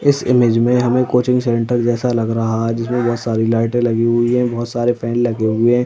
इस इमेज में हमें कोचिंग सेंटर जैसा लग रहा है जिसमें बहोत सारी लाइटें लगी हुई हैं। बहोत सारे फैन लगे हुए हैं।